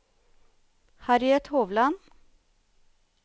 Harriet Hovland